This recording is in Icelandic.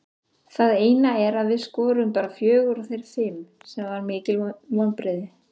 Það eina er að við skoruðum bara fjögur og þeir fimm sem var mikil vonbrigði.